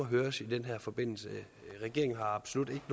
høres i den her forbindelse regeringen har absolut